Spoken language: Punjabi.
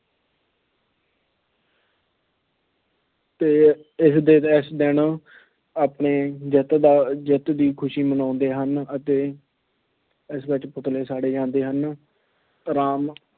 ਅਤੇ ਇਸ ਦਿਨ ਇਸ ਦਿਨ ਆਪਣੇ ਜਿੱਤ ਦਾ ਜਿੱਤ ਦੀ ਖੁਸ਼ੀ ਮਨਾਉਂਦੇ ਹਨ ਅਤੇ ਇਸ ਵਿੱਚ ਪੁਤਲੇ ਸਾੜੇ ਜਾਂਦੇ ਹਨ, ਰਾਮ